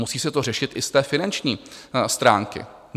Musí se to řešit i z té finanční stránky.